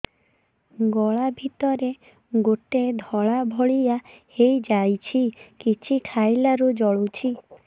ଗଳା ଭିତରେ ଗୋଟେ ଧଳା ଭଳିଆ ହେଇ ଯାଇଛି କିଛି ଖାଇଲାରୁ ଜଳୁଛି